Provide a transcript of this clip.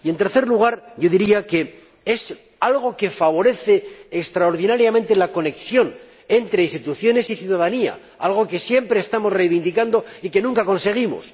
En tercer lugar, diría que es algo que favorece extraordinariamente la conexión entre instituciones y ciudadanía, algo que siempre estamos reivindicando y que nunca conseguimos.